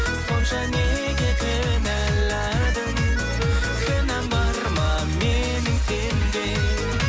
сонша неге кінәладың кінәм бар ма менің сенде